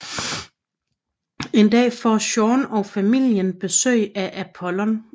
En dag får Jean og familien besøg af Apollon